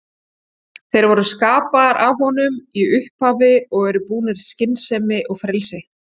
Þeir voru skapaðir af honum í upphafi og eru búnir skynsemi og frelsi.